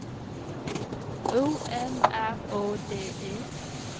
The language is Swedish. O M R Å D E